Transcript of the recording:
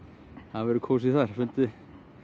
það verður kósí þar fundinn